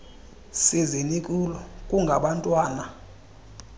sizi nikulo kungabantwana